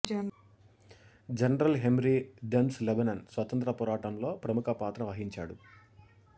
general Henri Dentz Lebanon స్వతంత్ర పోరాటంలో ప్రముఖపాత్ర వహించాడు